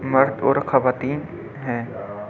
मर्द और खवातीन हैं।